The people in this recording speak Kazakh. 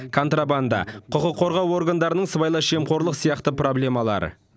контрабанда құқық қорғау органдарының сыбайлас жемқорлық сияқты проблемалары